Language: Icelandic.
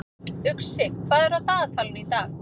Uxi, hvað er á dagatalinu í dag?